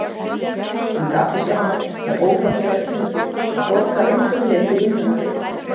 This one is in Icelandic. Hann gat þess jafnframt, að óhjákvæmilegt mundi að borga að einhverju leyti vinnuna við uppdráttinn.